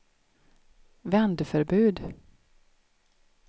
vändförbud